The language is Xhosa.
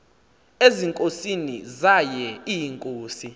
ezinkosini zaye iinkosi